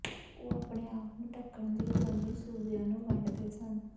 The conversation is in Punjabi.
ਉਹ ਆਪਣੇ ਆਪ ਨੂੰ ਢੱਕਣ ਲਈ ਰੋਮੀ ਸੂਬਿਆਂ ਨੂੰ ਵੰਡਦੇ ਸਨ